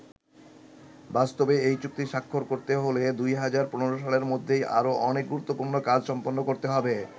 বাস্তবে এই চুক্তি স্বাক্ষর করতে হলে ২০১৫ সালের মধ্যেই আরো অনেক গুরুত্বপূর্ণ কাজ সম্পন্ন করতে হবে।